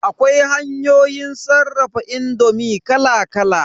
Akwai hanyoyin sarrafa indomi kala kala.